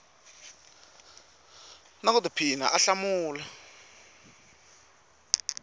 na ku tiphina a hlamula